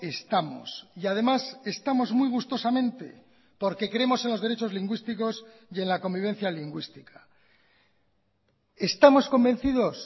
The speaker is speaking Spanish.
estamos y además estamos muy gustosamente porque creemos en los derechos lingüísticos y en la convivencia lingüística estamos convencidos